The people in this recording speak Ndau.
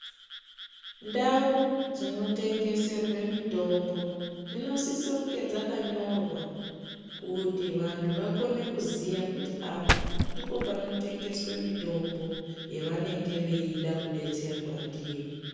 Ndau dzinotengeserwe mitombo dzinosisonge dzakanyorwa kuti vantu vakone kuziya kuti apa ndipo panotengeswe mitombo yevanenge veida kudetserwa ndiyo.